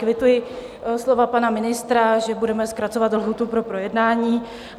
Kvituji slova pana ministra, že budeme zkracovat lhůtu pro projednání.